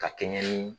Ka kɛɲɛ ni